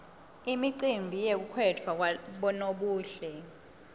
imicimbi yekukhetfwa kwabonobuhle